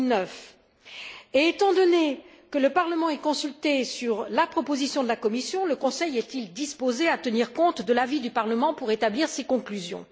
2009. Et, étant donné que le Parlement est consulté sur la proposition de la Commission, le Conseil est il disposé à tenir compte de l'avis du Parlement pour établir ses conclusions?